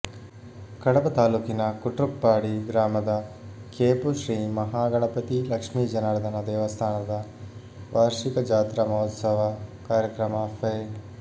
ಕಡಬ ತಾಲೂಕಿನ ಕುಟ್ರುಪ್ಪಾಡಿ ಗ್ರಾಮದ ಕೇಪು ಶ್ರೀ ಮಹಾಗಣಪತಿ ಲಕ್ಷ್ಮೀ ಜನಾರ್ಧನ ದೇವಸ್ಥಾನದ ವಾರ್ಷಿಕ ಜಾತ್ರಾ ಮಹೋತ್ಸವ ಕಾರ್ಯಕ್ರಮ ಫೆ